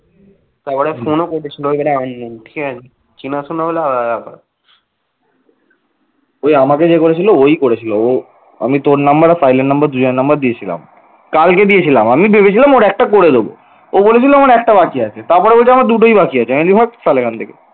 আমি তোর number আর পাইনের number দুজনের number দিয়েছিলাম কালকে দিয়েছিলাম আমি ভেবেছিলাম ওর একটা করে দেব ও বলেছিল আমার একটা বাকি আছে। তারপর বলছি আমার দুটোই বাকি আছে। আমি বলছি ভাগ শালা এখান থেকে।